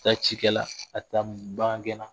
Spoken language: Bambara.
A' tɛ taa ci la a' tɛ taa bagangɛn na